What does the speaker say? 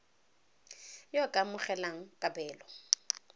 yo o ka amogelang kabelo